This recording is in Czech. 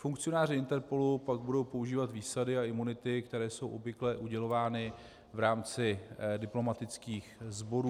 Funkcionáři INTERPOLu pak budou používat výsady a imunity, které jsou obvykle udělovány v rámci diplomatických sborů.